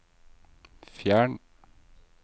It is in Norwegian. fjern